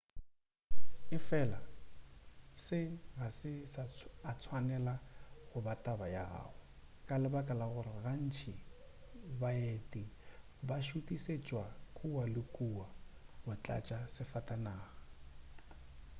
efela se ga se a tswanela go ba taba ya gago ka lebaka la gore gantši baeti ba šutišetšwa kua le kua go tlatša disafatanaga